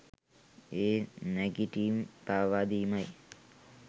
ඒ නැගිටිම් පාවාදීමයි.